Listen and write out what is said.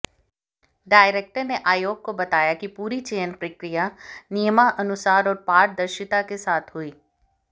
director ने आयोग को बताया कि पूरी चयन प्रक्रिया नियमानुसार और पारदर्शिता के साथ हुई